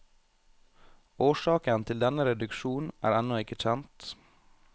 Årsaken til denne reduksjon er ennå ikke kjent.